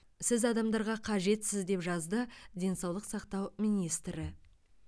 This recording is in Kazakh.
сіз адамдарға қажетсіз деп жазды денсаулық сақтау министрі